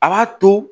A b'a to